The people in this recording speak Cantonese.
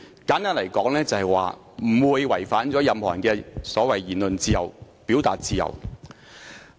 簡單而言，它不會違反任何人所提出的"言論自由"及"表達自由"。